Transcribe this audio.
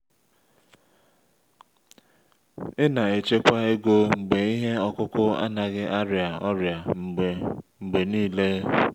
ị na-echekwa ego mgbe ihe ọkụkụ anaghị arịa ọrịa mgbe mgbe niile.